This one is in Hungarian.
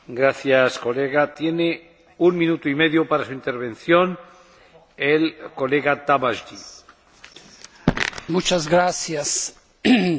Az Európai Uniót a gazdasági válság kitörése óta számos alkalommal bírálták, hogy nem képes megfelelő módon reagálni a válsághelyzetre.